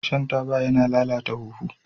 Shan taba yana lalata huhu.